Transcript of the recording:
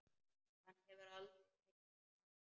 Hann hefur aldrei teiknað annað.